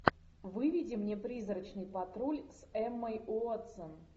выведи мне призрачный патруль с эммой уотсон